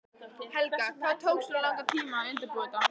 Helga: Hvað tók svona langan tíma að undirbúa þetta?